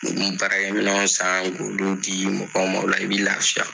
I bɛ baarakɛminɛnw san i b'olu di mɔgɔw ma o la i bɛ lafiya